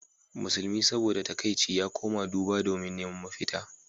Musulmi saboda takaici ya koma duba domin neman mafita.